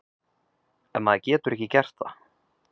En maður getur ekki gert það.